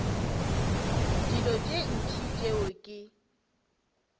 dilo tše ntši tšeo ke